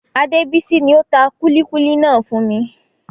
Adebisi ni ó tà kúlíkúlí náà fún mi.